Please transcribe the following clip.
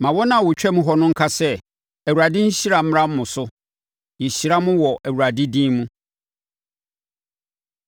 Mma wɔn a wɔtwam hɔ nnka sɛ, “ Awurade nhyira mmra mo so; yɛhyira mo wɔ Awurade din mu.”